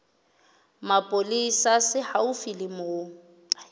mapolesa se haufi le moo